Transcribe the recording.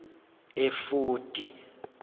efodi